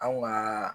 Anw ŋaa